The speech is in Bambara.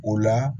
O la